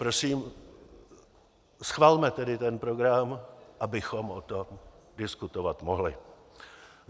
Prosím, schvalme tedy ten program, abychom o tom diskutovat mohli.